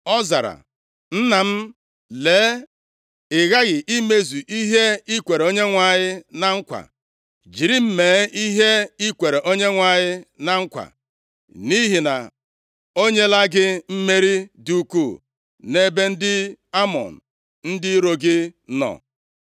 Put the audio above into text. Ọ zara, “Nna m, lee, ị ghaghị imezu ihe i kwere Onyenwe anyị na nkwa. Jiri m mee ihe i kwere Onyenwe anyị na nkwa, nʼihi na o nyela gị mmeri dị ukwuu nʼebe ndị Amọn, ndị iro gị nọ.